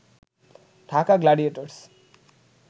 Dhaka Gladiators